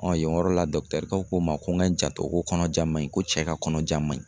yen yɔrɔ la kɛ ko ma ko ŋa n janto ko kɔnɔja ma ɲi ko cɛ ka kɔnɔja ma ɲi.